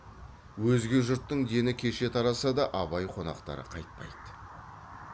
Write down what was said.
өзге жұрттың дені кеше тараса да абай қонақтары қайтпайды